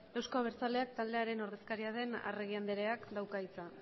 euzko abertzaleak taldearen ordezkaria den arregi andreak dauka hitza